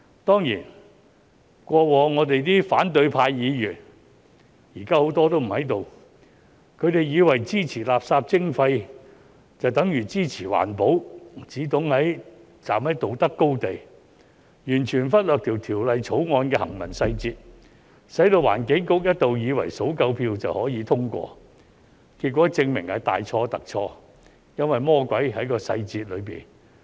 當然，過往的反對派議員——現時很多都不在這裏——他們以為支持垃圾徵費就等於支持環保，只懂站在道德高地，完全忽略《條例草案》的行文細節，使環境局一度以為數夠票就可通過，結果證明是大錯特錯，因為魔鬼在細節中。